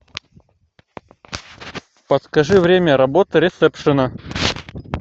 подскажи время работы ресепшена